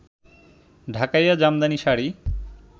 Dhakaiya Jamdani sari